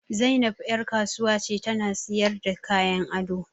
Zainab ƴar kasuwa ce ta na sayarda kayan ado